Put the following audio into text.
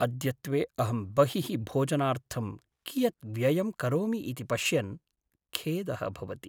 अद्यत्वे अहं बहिः भोजनार्थं कियत् व्ययं करोमि इति पश्यन् खेदः भवति।